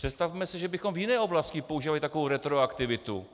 Představme si, že bychom v jiné oblasti používali takovou retroaktivitu,